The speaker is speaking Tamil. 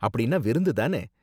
அப்படின்னா விருந்து தானே?